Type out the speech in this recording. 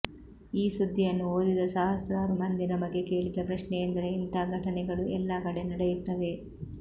ಈ ಸುದ್ದಿಯನ್ನು ಓದಿದ ಸಹಸ್ರಾರು ಮಂದಿ ನಮಗೆ ಕೇಳಿದ ಪ್ರಶ್ನೆಯೆಂದರೆ ಇಂಥ ಘಟನೆಗಳು ಎಲ್ಲಾ ಕಡೆ ನಡೆಯುತ್ತವೆ